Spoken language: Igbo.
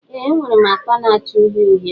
Ee enwere m akpa na-acha uhie uhie.